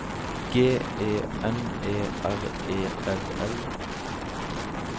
G E N E R E L L